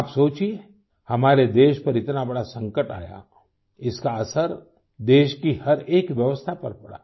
आप सोचिए हमारे देश पर इतना बड़ा संकट आया इसका असर देश की हर एक व्यवस्था पर पड़ा